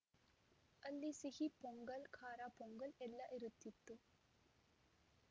ಅಲ್ಲಿ ಸಿಹಿ ಪೊಂಗಲ್‌ ಖಾರ ಪೊಂಗಲ್‌ ಎಲ್ಲಾ ಇರುತ್ತಿತ್ತು